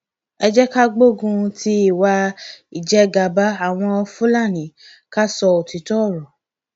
ẹ jẹ ká gbógun ti ìwà ìjẹgàba àwọn fúlàní ká sọ òtítọ ọrọ